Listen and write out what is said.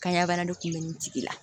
Kanɲɛ bana de kun bɛ nin tigi la